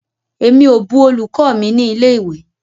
Emi o bù olùkọ́ mi ni ilé ìwé.